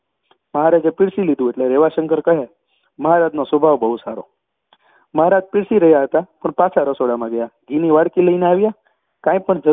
મહારાજે પીરસી લીધું એટલે રેવાશંકર કહે મહારાજનો સ્વભાવ બહુ સારો મહારાજ પીરસી રહ્યા હતા પણ પાછા રસોડામાં ગયા, ઘીની વાડકી લઈ આવ્યા અને કાંઈ પણ જ